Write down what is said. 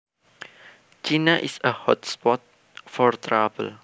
China is a hot spot for trouble